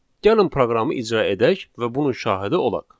Gəlin proqramı icra edək və bunun şahidi olaq.